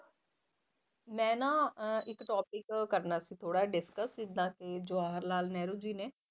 ਮੈਂ ਨਾ ਅਹ ਇੱਕ topic ਕਰਨਾ ਸੀ ਥੋੜ੍ਹਾ ਜਿਹਾ discuss ਜਿੱਦਾਂ ਕਿ ਜਵਾਹਰ ਲਾਲ ਨਹਿਰੂ ਜੀ ਨੇ